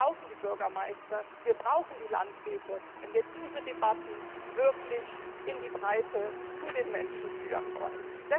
Denn wir brauchen die Bürgermeister, wir brauchen die Landräte, wenn wir diese Debatten wirklich in die Breite zu den Menschen führen wollen.